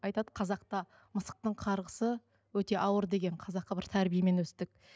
айтады қазақта мысықтың қарғысы өте ауыр деген қазақы бір тәрбиемен өстік